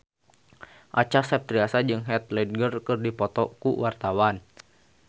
Acha Septriasa jeung Heath Ledger keur dipoto ku wartawan